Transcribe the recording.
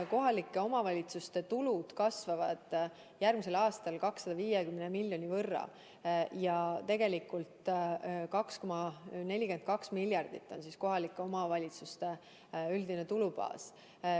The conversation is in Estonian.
Kohalike omavalitsuste tulud kasvavad järgmisel aastal 250 miljoni euro võrra ja kohalike omavalitsuste üldine tulubaas on tegelikult 2,42 miljardit eurot.